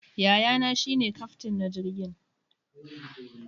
Yayana shi ne kyaftin na jirgin.